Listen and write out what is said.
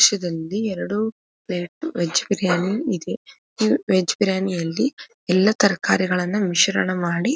ದೃಶ್ಯದಲ್ಲಿ ಎರಡು plate veg biryani ಇದೆ ಈ ವೆಜ್ ಬಿರಿಯಾನಿಯಲ್ಲಿ ಎಲ್ಲಾ ತರಕಾರಿಗಳನ್ನಾ ಮಿಶ್ರಣ ಮಾಡಿ.